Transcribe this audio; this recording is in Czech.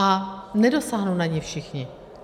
A nedosáhnou na ni všichni.